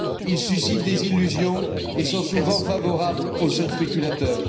Ils suscitent des illusions et sont souvent favorables aux seuls spéculateurs.